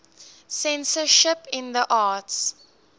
censorship in the arts